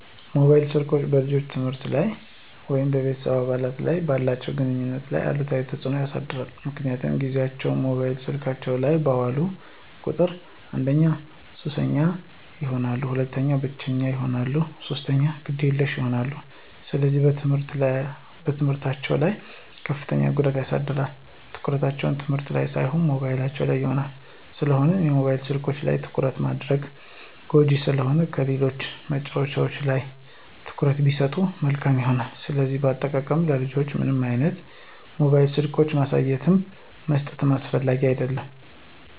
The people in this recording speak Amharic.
ሞባይል ስልኮች በልጆች የትምህርት ላይ ወይም ከቤተሰብ አባላት ጋር ባላቸው ግንኙነት ላይ አሉታዊ ተጽዕኖ ያሳድራል ምክንያቱም ጊዚያቸውን ሞባይል ስልኮች ላይ ባዋሉ ቁጥር አንደኛ ሱሰኛ ይሆናሉ፣ ሁለተኛ ብቸኛ ይሆናሉ፣ ሶስተኛ ግዴለሽ ይሆናሉ፣ ስለዚህ በትምህርታቸው ላይ ከፍተኛ ጉዳት ያሳድራል፣ ትኩረታቸው ትምህርት ላን ሳይሆን ሞባይሉ ላይ ይሆናል። ስለሆነም የሞባይል ስልኮች ላይ ትኩረት ማድረጋቸው ጎጅ ስለሆነ ከሌሎች መጫዎቻዎች ላይ ትኩረት ቢሰጡ መልካም ይሆናል። ስለዚህ በአጠቃላይ ለልጆች ምንም አይነት ሞባይል ስልኮችን ማሳየትም መስጠትም አስፈላጊ አደለም።